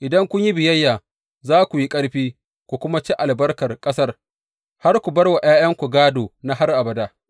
Idan kun yi biyayya za ku yi ƙarfi, ku kuma ci albarkar ƙasar, har ku bar wa ’ya’yanku gādo na har abada.’